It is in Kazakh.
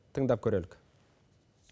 тыңдап көрелік